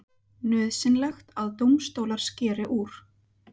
Nauðsynlegt að dómstólar skeri úr